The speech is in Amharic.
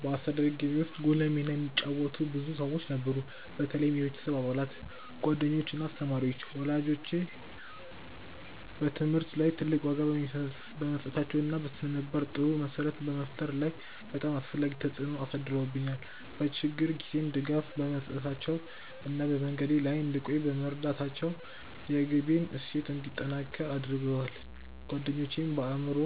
በአስተዳደጌ ውስጥ ጉልህ ሚና የተጫወቱ ብዙ ሰዎች ነበሩ፣ በተለይም የቤተሰብ አባላት፣ ጓደኞች እና አስተማሪዎች። ወላጆቼ በትምህርት ላይ ትልቅ ዋጋ በመስጠታቸው እና በስነ-ምግባር ጥሩ መሰረት በመፍጠር ላይ በጣም አስፈላጊ ተጽዕኖ አሳድረውብኛል፤ በችግር ጊዜም ድጋፍ በመስጠታቸው እና በመንገዴ ላይ እንድቆይ በመርዳታቸው የግቤን እሴት እንዲጠነክር አድርገዋል። ጓደኞቼም በአእምሮ